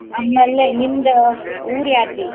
ಆಮೇಲೆ ನಿಮ್ದ್ ಊರ್ ಯಾದ್ರಿ?